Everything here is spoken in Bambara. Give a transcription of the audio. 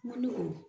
N man nɔgɔn